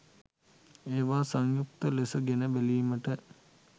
එවා සංයුක්ත ලෙස ගෙන බැලිමට